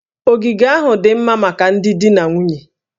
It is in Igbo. Ogige ahụ dị mma maka ndị di na nwunye